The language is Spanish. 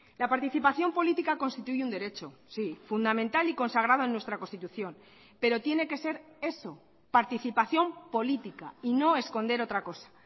la participación política constituye un derecho sí fundamental y consagrado en nuestra constitución pero tiene que ser eso participación política y no esconder otra cosa